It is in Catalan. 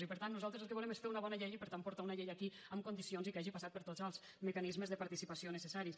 i per tant nosaltres el que volem és fer una bona llei i per tant portar una llei aquí en condicions i que hagi passat per tots els mecanismes de participació necessaris